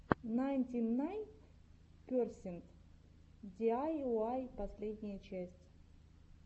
найнтинайнперсент диайуай последняя часть